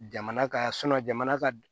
Jamana ka jamana ka